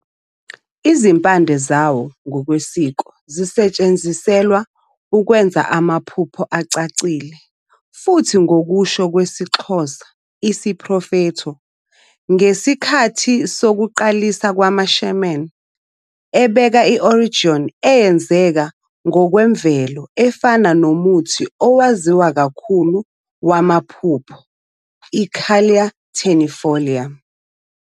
Izimpande zawo ngokwesiko zisetshenziselwa ukwenza amaphupho acacile, futhi ngokusho kwesiXhosa, isiprofetho, ngesikhathi sokuqalisa kwamaShaman, ebeka i-oneirogen eyenzeka ngokwemvelo efana nomuthi owaziwa kakhulu wamaphupho "u-Calea ternifolia".